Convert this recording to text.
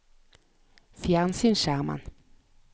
fjernsynsskjermen